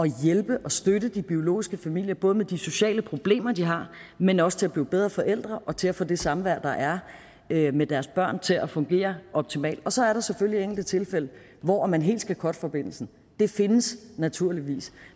hjælpe og støtte de biologiske familier både med de sociale problemer de har men også til at blive bedre forældre og til at få det samvær der er er med deres børn til at fungere optimalt og så er der selvfølgelig enkelte tilfælde hvor man helt skal cutte forbindelsen de findes naturligvis